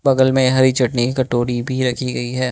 बगल में हरी चटनी कटोरी भी रखी गई है।